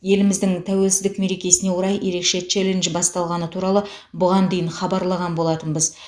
еліміздің тәуелсіздік мерекесіне орай ерекше челлендж басталғаны туралы бұған дейін хабарлаған болатынбыз